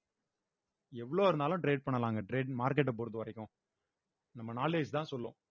எவ்ளோ இருந்தாலும் trade பண்ணலாங்க trade market அ பொறுத்தவரைக்கும் நம்ம knowledge தான் சொல்லும்